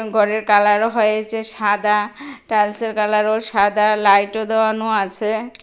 গরের কালার হয়েছে সাদা টাইলসের কালারো সাদা লাইটও দেওয়ানো আছে।